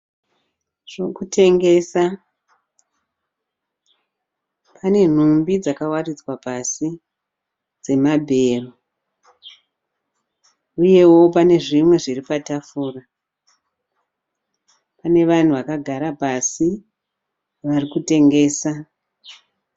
Zvokutengesa pane nhumbi dzakavaridzwa pasi dzemabhero uyeo pane zvimwe zviri patafura. Pane vanhu vakagara pasi varikutengesa.